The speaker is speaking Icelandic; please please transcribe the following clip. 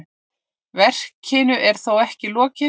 Verkinu er þó ekki lokið.